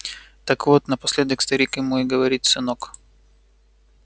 так вот напоследок старик ему и говорит сынок